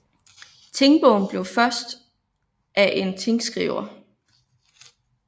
Tingbogen blev først af en tingskriver